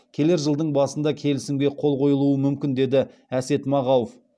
келер жылдың басында келісімге қол қойылуы мүмкін деді әсет мағауов